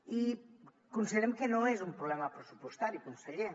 i considerem que no és un problema pressupostari conseller